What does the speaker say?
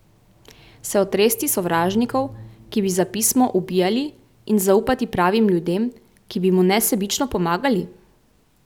Se otresti sovražnikov, ki bi za pismo ubijali, in zaupati pravim ljudem, ki bi mu nesebično pomagali?